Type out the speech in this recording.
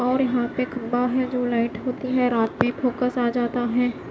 और यह पे खंभा है जो लाइट होती है रात में फोकस आ जाता है।